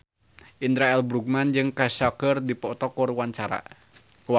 Indra L. Bruggman jeung Kesha keur dipoto ku wartawan